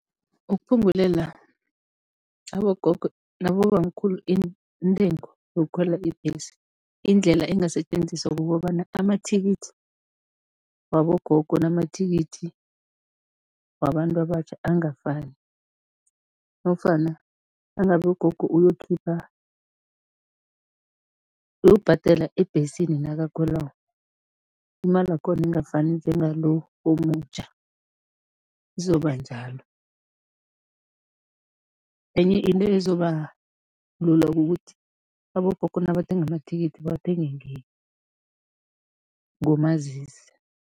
Ukuphungulela abogogo nabobamkhulu intengo yokukhwela ibhesi, indlela engasetjenziswa kukobana amathikithi wabogogo namathikithi wabantu abatjha angafani nofana nangabe ugogo uyokukhipha, uyokubhadela ebhesini nakakhwelako, imalakhona ingafani njengalo omutjha, izoba njalo. Enye into ezoba lula kukuthi abogogo nabathenga amathikithi, bathenge ngomazisi.